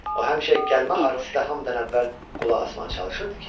O həmişə gəlmə artistə hamıdan əvvəl qulaq asmağa çalışırdı.